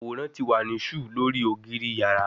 Aworan ti wa ni ṣù lori ogiri yara